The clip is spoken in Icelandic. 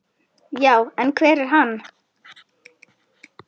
Já, en hver er hann?